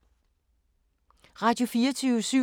Radio24syv